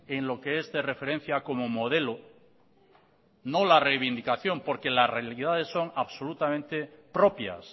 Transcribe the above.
en lo que este referencia como modelo no la reivindicación porque las realidades son absolutamente propias